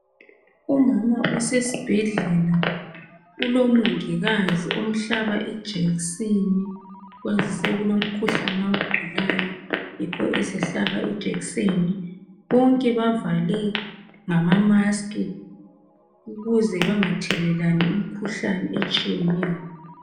Umama usesibhedlela ulomongikazi omhlaba ijekiseni kwazise kulomkhuhlane awugulayo yikho esehlaba ijekiseni bonke bavale ngamamaski ukuze bengathelelani imikhuhlane etshiyeneyo.